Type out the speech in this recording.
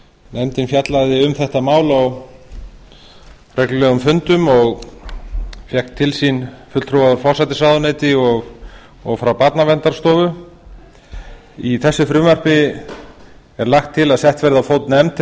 nefndin fjallaði um þetta mál á reglulegum fundum og fékk til sín fulltrúa frá forsætisráðuneyti og frá barnaverndarstofu í þessu frumvarpi er lagt til að sett verði á fót nefnd